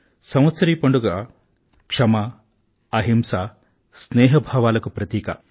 సంవత్సరీ పండుగ క్షమ అహింస స్నేహా భావాలకు ప్రతీక